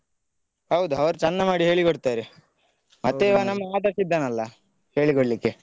ಹೌದು ಅವರು ಚಂದ ಮಾಡಿ ಹೇಳಿ ಕೊಡ್ತಾರೆ ಮತ್ತೆ ನಮ್ಮ ಆದರ್ಶ್ ಇದ್ದಾನಲ್ಲ ಹೇಳಿಕೊಡ್ಲಿಕ್ಕೆ.